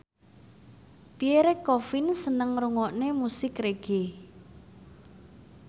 Pierre Coffin seneng ngrungokne musik reggae